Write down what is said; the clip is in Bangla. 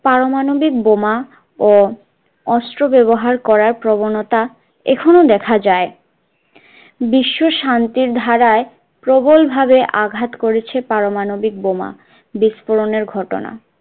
পারমাণবিক বোমা ও অস্ত্র ব্যবহার করার প্রবণতা এখনও দেখা যায় বিশ্ব শান্তির ধারায় প্রবল ভাবে আঘাত করেছে পারমাণবিক বোমা বিস্ফোরণের ঘটনা